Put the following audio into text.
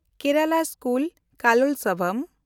Kerala school Kalolsavam